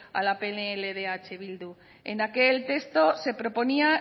a la pnl de eh bildu en aquel texto se proponía